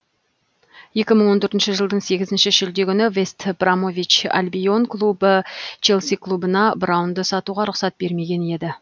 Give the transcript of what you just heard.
екі мың он төртінші жылдың сегізінші шілде күні вест бромвич альбион клубы челси клубына браунды сатуға рұқсат бермеген еді